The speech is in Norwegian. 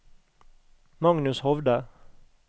Magnus Hovde